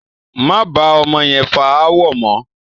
Máa bá ọmọ yẹn fà ááwọ̀ mọ!